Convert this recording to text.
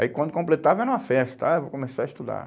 Aí quando completava era uma festa, ah, vou começar a estudar.